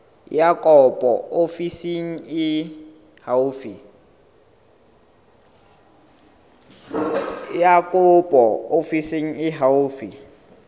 ya kopo ofising e haufi